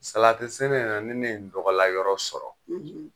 Salati sɛnɛ na , ni ne ye n tɔgɔla yɔrɔ sɔrɔ